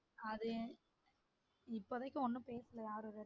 அது இப்பதைக்கு ஒன்னும் பேசல யாரும் அத